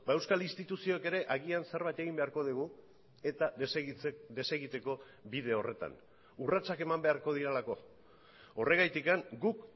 euskal instituzioek ere agian zerbait egin beharko dugu eta desegiteko bide horretan urratsak eman beharko direlako horregatik guk